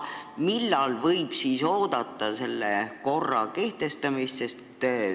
Millal võib siis oodata selle korra kehtestamist?